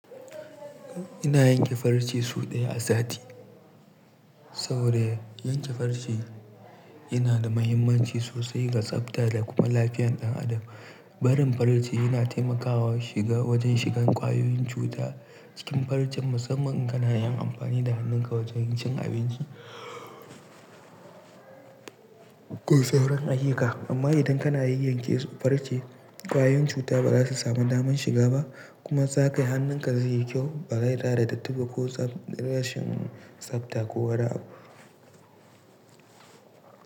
Ina yanke farce sau ɗaya a sati. Saboda yanke farce yana da muhimmanci sosai ga tsabta da kuma lafiyan ɗan adam. Barin farce yana taimakawa shiga wajen shigan kwayoyin cuta cikin farce musamman in kana yin amfani da hannunka wajen cin abinci ko sauraron a hika. Amma idan kana yin yanke farce, kwayoyin cuta ba za su samu daman shiga ba kuma zakai hannunka zai yi kyau ba dai da da datti ba ko rashin tsabta ko wada abu.